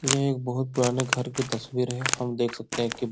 ये एक बहुत पुराने घर की तस्वीर है। हम देख सकतें हैं की --